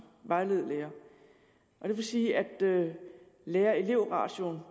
vejlede lærere og det vil sige at lærerelev ratioen